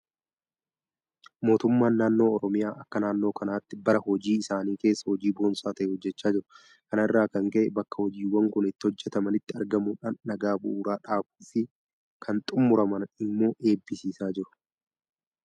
Mootummaan naannoo Oromiyaa akka naannoo kanaatti bara hojii isaanii keessa hojii boonsaa ta'e hojjechaa jiru. Kana irraa kan ka'e bakka hojiiwwan kun itti hojjetamanitti argamuudhaan dhagaa bu'uuraa dhaabuufi kan xummuraman immoo eebbisiisaa jiru.